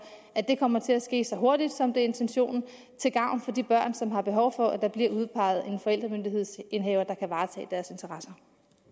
at det kommer til at ske så hurtigt som det er intentionen til gavn for de børn som har behov for at der bliver udpeget en forældremyndighedsindehaver der kan varetage deres interesser